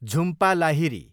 Jhumpa Lahiri